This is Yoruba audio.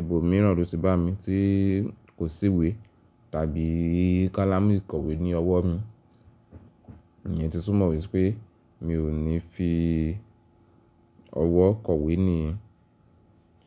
ibòmíràn ló ti bá mi tí kò sí ìwé tàbí kálámù ìkọ̀wé ní ọwọ́ mi, ìyẹn ti tú mọ̀ wípé mi ò ní fi ọwọ́ kọ̀wé nìyẹn.